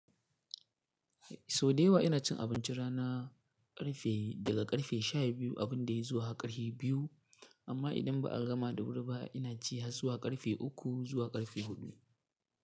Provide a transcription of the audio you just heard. So da yawa ina cin abinci rana ƙarfe daga ƙarfe 12 abin da ya zuwa ƙarfe 2. Amma idan ba a gama da birba ina ci har zuwa ƙarfe 3 zuwa ƙarfe 4.